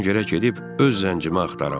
Mən gərək gedib öz zəncimi axtaram.